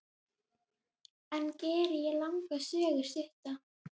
Enn geri ég langa sögu stutta.